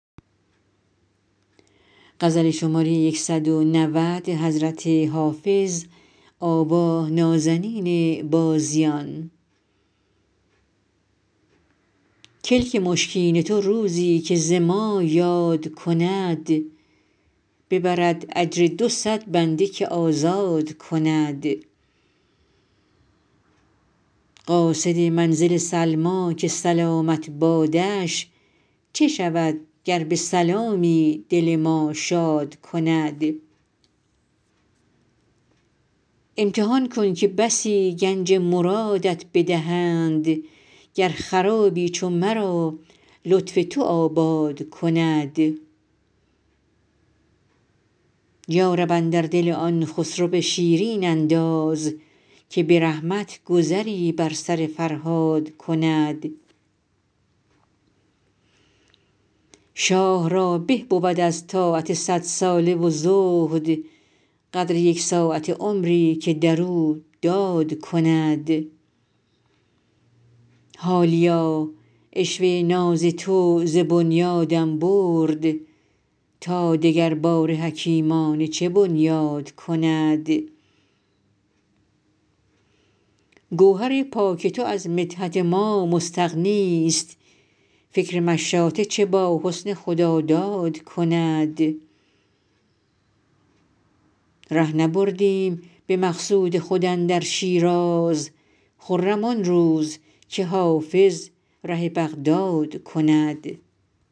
کلک مشکین تو روزی که ز ما یاد کند ببرد اجر دو صد بنده که آزاد کند قاصد منزل سلمیٰ که سلامت بادش چه شود گر به سلامی دل ما شاد کند امتحان کن که بسی گنج مرادت بدهند گر خرابی چو مرا لطف تو آباد کند یا رب اندر دل آن خسرو شیرین انداز که به رحمت گذری بر سر فرهاد کند شاه را به بود از طاعت صدساله و زهد قدر یک ساعته عمری که در او داد کند حالیا عشوه ناز تو ز بنیادم برد تا دگرباره حکیمانه چه بنیاد کند گوهر پاک تو از مدحت ما مستغنیست فکر مشاطه چه با حسن خداداد کند ره نبردیم به مقصود خود اندر شیراز خرم آن روز که حافظ ره بغداد کند